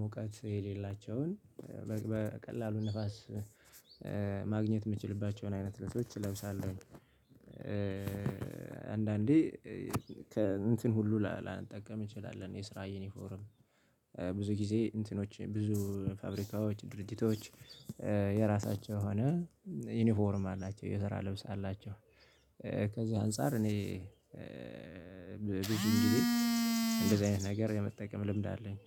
ሞቃት የሌላቸውን በቀላሉ ንፋስ ማግኘት የምችልባቸውን አይነት ልብሶች እለብሳለሁ። አንዳንዴ እንትን ሁሉ ላልጠቀም እንችላለን የስራ የኔ ፎረም ብዙ ጊዜ እንትኖች ብዙ ፋብሪካዎች ድርጅቶች የራሳቸው ሆነ ዩኒፎርም አላቸው የስራ ልብስ አላቸው። ከዛ አንፃር እኔ ብዙ እንግዲህ እንደዚህ አይነት ነገር የመጠቀም ልምድ አለኝ።